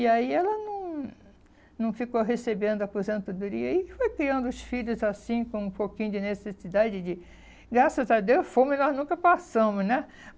E aí ela não não ficou recebendo a aposentadoria e foi criando os filhos, assim, com um pouquinho de necessidade de... Graças a Deus, fome nós nunca passamos, né?